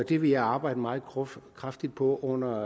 det vil jeg arbejde meget kraftigt på under